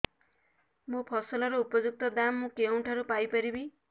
ମୋ ଫସଲର ଉପଯୁକ୍ତ ଦାମ୍ ମୁଁ କେଉଁଠାରୁ ପାଇ ପାରିବି